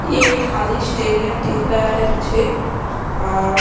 ये एक खाली स्टेडियम दिख रहा है मुझे अ --